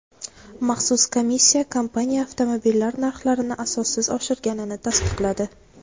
maxsus komissiya kompaniya avtomobillar narxlarini asossiz oshirganini tasdiqladi.